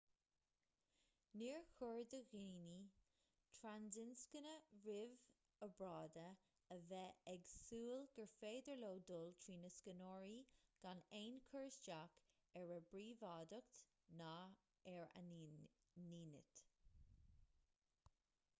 níor chóir do dhaoine trasinscne roimh obráide a bheith ag súil gur féidir leo dul trí na scanóirí gan aon chur isteach ar a bpríobháideacht ná ar a ndínit